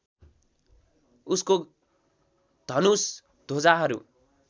उसको धनुष ध्वजाहरू